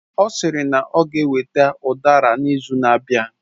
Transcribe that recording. Ọ sịrị na ọ ga eweta udara n'izu na-abịa